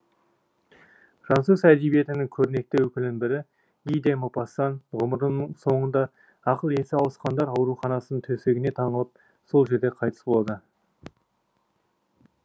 француз әдебиетінің көрнекті өкілінің бірі ги де мопассан ғұмырының соңында ақыл есі ауысқандар ауруханасының төсегіне таңылып сол жерде қайтыс болады